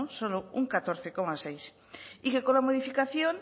solo un catorce coma seis y que con la modificación